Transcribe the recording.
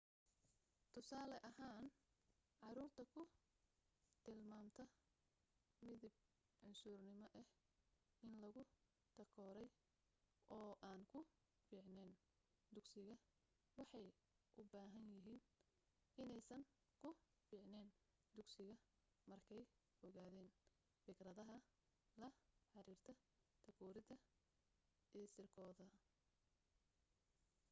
tusaale ahaan caruurta ku tilmaamta midab cunsurinimo ah in lagu takooray oo aan ku fiicneyn dugsiga waxay u badan yahay inaysan ku fiicneyn dugsiga markey ogaadeen fikradaha la xiriirta takoorida isirkooda